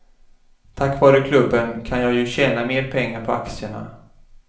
Tack vare klubben kan jag ju tjäna mer pengar på aktierna.